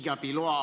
Austatud minister!